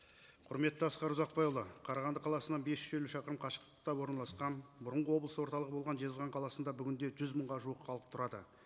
құрметті асқар ұзақбайұлы қарағанды қаласына бес жүз елу шақырым қашықтықта орналасқан бұрынғы облыс орталығы болған жезқазған қаласында бүгінде жүз мыңға жуық халық тұрады